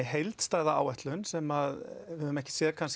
heildstæða áætlun sem við höfum ekki séð